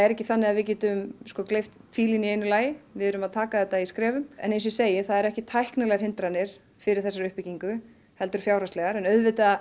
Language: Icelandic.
ekki þannig að við getum gleypt fílinn í einu lagi við erum að taka þetta í skrefum eins og ég segi það eru ekki tæknilegar hindranir fyrir þessari uppbyggingu heldur fjárhagslegar auðvitað